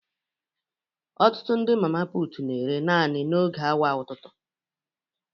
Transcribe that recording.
Ọtụtụ ndị mama putu na-ere naanị n'oge awa ụtụtụ